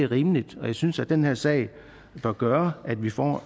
rimeligt og jeg synes at den her sag bør gøre at vi får